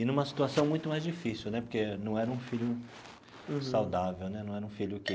E numa situação muito mais difícil né, porque não era um filho saudável né, não era um filho que.